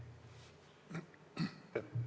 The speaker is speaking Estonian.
Aitäh!